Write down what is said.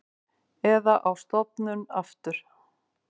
Eða á stofnun aftur.